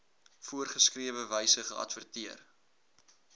voorgeskrewe wyse geadverteer